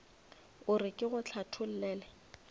o re ke go hlathollele